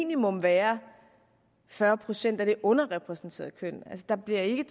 minimum være fyrre procent af det underrepræsenterede køn der bliver ikke